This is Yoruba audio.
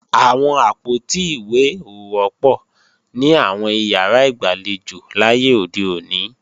Àwọn àpótí ìwé ò wọ́pọ̀ ní àwọn ìyàrá ìgbàlejò láyé òde òní